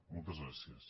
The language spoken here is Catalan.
moltes gràcies